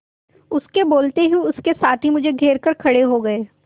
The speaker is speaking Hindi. उसके बोलते ही उसके साथी मुझे घेर कर खड़े हो गए